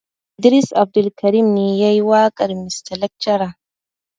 Idris Abdulkarim ne yayi waƙar mista lakcara.